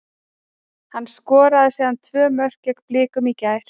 Hann skoraði síðan tvö mörk gegn Blikum í gær.